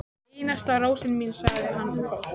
Einasta rósin mín, sagði hann og fór.